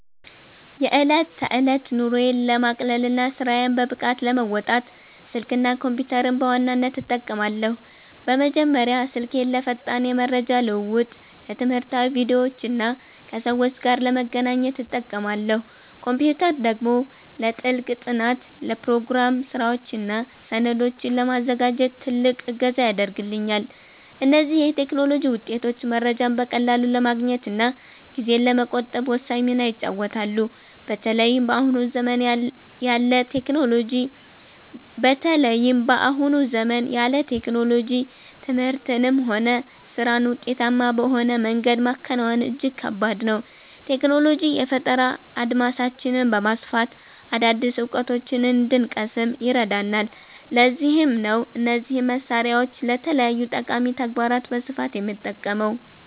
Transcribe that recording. የዕለት ተዕለት ኑሮዬን ለማቅለልና ስራዬን በብቃት ለመወጣት፣ ስልክና ኮምፒተርን በዋናነት እጠቀማለሁ። በመጀመሪያ ስልኬን ለፈጣን የመረጃ ልውውጥ፣ ለትምህርታዊ ቪዲዮዎችና ከሰዎች ጋር ለመገናኛነት እጠቀማለሁ። ኮምፒተር ደግሞ ለጥልቅ ጥናት፣ ለፕሮግራም ስራዎችና ሰነዶችን ለማዘጋጀት ትልቅ እገዛ ያደርግልኛል። እነዚህ የቴክኖሎጂ ውጤቶች መረጃን በቀላሉ ለማግኘትና ጊዜን ለመቆጠብ ወሳኝ ሚና ይጫወታሉ። በተለይም በአሁኑ ዘመን ያለ ቴክኖሎጂ ትምህርትንም ሆነ ስራን ውጤታማ በሆነ መንገድ ማከናወን እጅግ ከባድ ነው። ቴክኖሎጂ የፈጠራ አድማሳችንን በማስፋት አዳዲስ እውቀቶችን እንድንቀስም ይረዳናል፤ ለዚህም ነው እነዚህን መሳሪያዎች ለተለያዩ ጠቃሚ ተግባራት በስፋት የምጠቀመው።